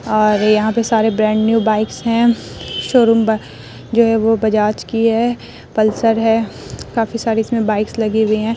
और यहाँ पे सारे ब्रांड न्यू बाइक्स है शोरूम जो है वो बजाज की है पल्सर है काफी सारी इसमें बाइक्स लगे हुए है।